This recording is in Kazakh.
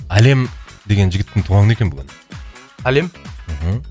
әлем деген жігіттің туған күні екен бүгін әлем мхм